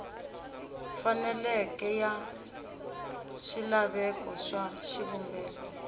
faneleke ya swilaveko swa xivumbeko